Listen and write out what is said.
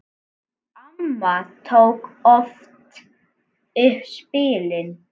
Amma tók oft upp spilin.